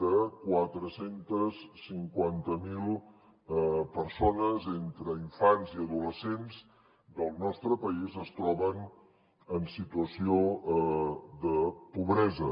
de quatre cents i cinquanta miler persones entre infants i adolescents del nostre país es troben en situació de pobresa